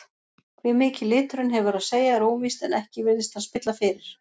Hve mikið liturinn hefur að segja er óvíst en ekki virðist hann spilla fyrir.